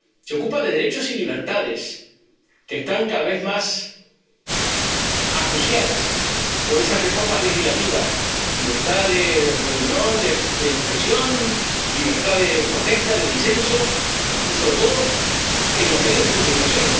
Se ocupa de derechos y libertades, que están cada vez más acuciadas por esas reformas legislativas libertad de reunión, de expresión, libertad de protesta, de disenso y, sobre todo, en los medios de comunicación